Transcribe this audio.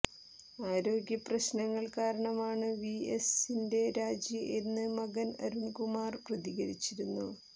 ആരോഗ്യപ്രശ്നങ്ങൾ കാരണമാണ് വി എസിന്റെ രാജി എന്ന് മകൻ അരുൺകുമാർ പ്രതികരിച്ചിരുന്നു